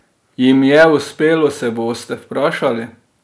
Jim je uspelo, se boste vprašali?